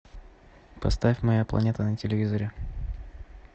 поставь моя планета на телевизоре